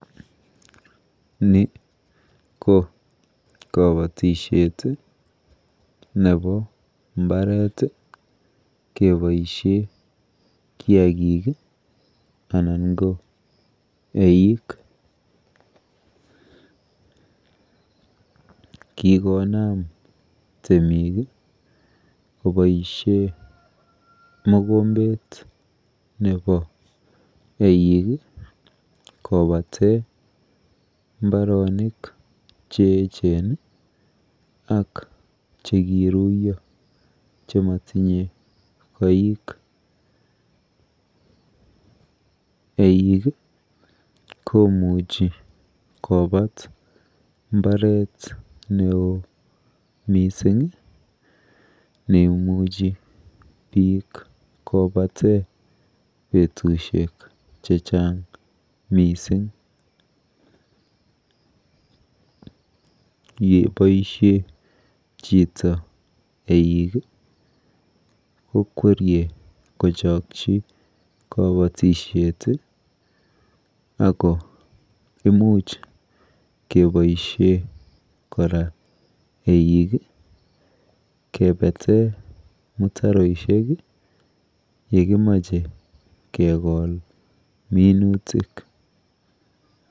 Ni ko kabatishet nepo mbaret keboishe kiakik anan ko eik. Kikonam temik koboishe mokombet nepo eik kopate mbaronik cheechen ak chekiruiyo chematinye koik. Eik komuchi kopat mbaret neoo miising neimuchi biik kopate betushek chechang mising. Yeboishe chito eik kokwerie kochokchi kabatishet ako imuch keboishe kora eik kepete mutaroishek yekimoche kekol minutik.